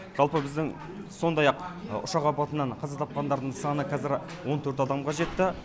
жалпы біздің сондай ақ ұшақ апатынан қаза тапқандардың саны қазір он төрт адамға жетті